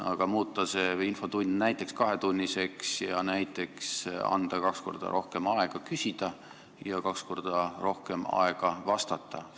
Aga kas võiks muuta infotunni näiteks kahetunniseks ning anda kaks korda rohkem aega küsida ja kaks korda rohkem aega vastata?